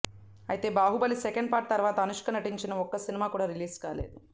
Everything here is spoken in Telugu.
అయితే బాహుబలి సెకండ్ పార్ట్ తర్వాత అనుష్క నటించిన ఒక్క సినిమా కూడా రిలీజ్ కాలేదు